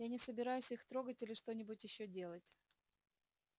я не собираюсь их трогать или что-нибудь ещё делать